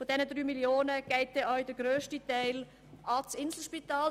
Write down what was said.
Von den 3 Mio. Franken geht auch der grösste Teil ans Inselspital.